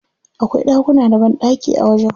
Akwai ɗakuna da banɗaki a wajen.